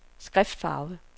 skriftfarve